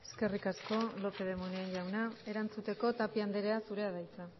eskerrik asko lópez de munain jauna erantzuteko tapia andrea zurea da hitza